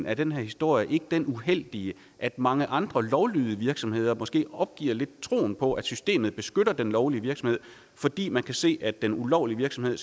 af den her historie ikke den uheldige at mange andre lovlydige virksomheder måske opgiver troen på at systemet beskytter den lovlige virksomhed fordi man kan se at den ulovlige virksomhed